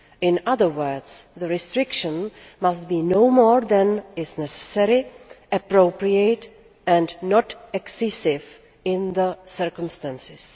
In other words, the restriction must be no more than is necessary and appropriate and not excessive in the circumstances.